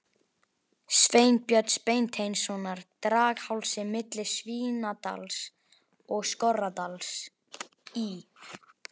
Sveinbjörns Beinteinssonar, Draghálsi milli Svínadals og Skorradals í